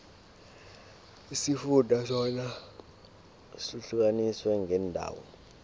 isifunda sona sihlukaniswe ngeendawo